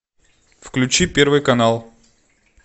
включи первый канал